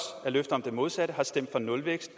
af løfter om det modsatte har stemt for nulvækst